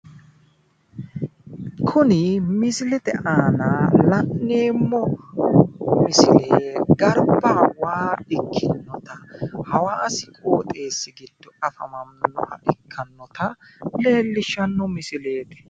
kuni misilete aana la'neemohu misile garba waa ikkinota hawaasi qoxeessi giddo afamannota leellishshano misileeti